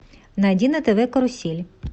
найди на тв карусель